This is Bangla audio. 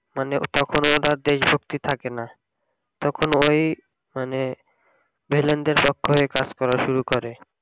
মানে তখন আর দেশ ভক্তি থাকে না, তখন ওই মানে ভিলেন দের চক্করে কাজ করা শুরু করে